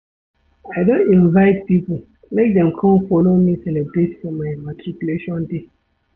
I don invite pipo make dem come folo me celebrate for my matriculation day.